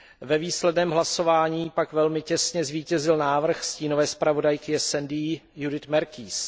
Ve výsledném hlasování pak velmi těsně zvítězil návrh stínové zpravodajky SD Judithy Merkiesové.